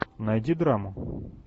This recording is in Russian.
найди драму